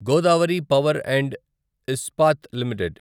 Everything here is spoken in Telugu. Godavari power and Ispat limited